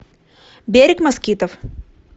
берег москитов